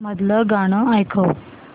मधलं गाणं ऐकव